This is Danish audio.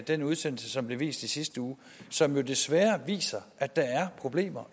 den udsendelse som blev vist i sidste uge og som jo desværre viser at der er problemer